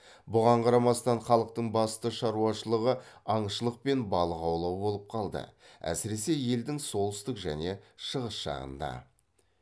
бұған қарамастан халықтың басты шаруашылығы аңшылық пен балық аулау болып қалды әсіресе елдің солтүстік және шығыс жағында